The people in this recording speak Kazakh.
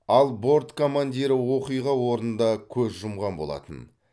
ал борт командирі оқиға орнында көз жұмған болатын